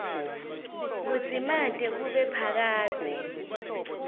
kudzimate kube phakadze